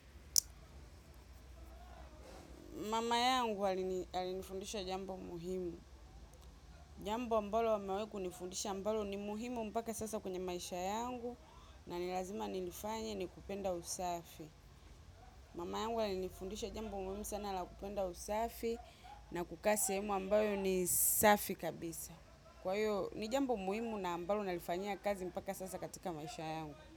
Mama yangu alinifundisha jambo muhimu. Jambo ambalo amewai kunifundisha ambalo ni muhimu mpaka sasa kwenye maisha yangu na ni lazima nilifanye ni kupenda usafi. Mama yangu alinifundisha jambo muhimu sana la kupenda usafi na kukaa sehemu ambayo ni safi kabisa. Kwa hiyo, ni jambo muhimu na ambalo nalifanyia kazi mpaka sasa katika maisha yangu.